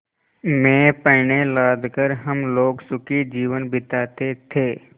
में पण्य लाद कर हम लोग सुखी जीवन बिताते थे